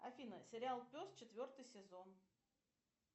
афина сериал пес четвертый сезон